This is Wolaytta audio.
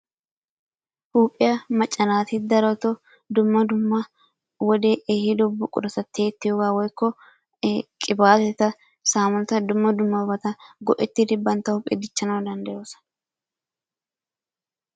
Huuphiya macca naati darotoo dumma dumma wodee ehido buqurata tiyettiyogaa woykko qibaateta, saamunata dumma dummabata go'ettidi bantta huuphiya dichchanawu danddayoosona.